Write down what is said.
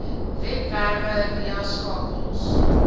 webwerwe via skakels